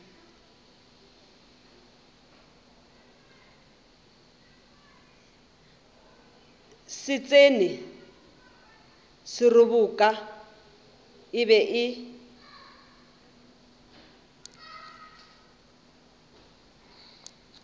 setšhene seroboka e be e